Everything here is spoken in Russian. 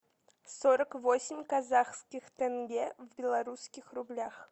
сорок восемь казахских тенге в белорусских рублях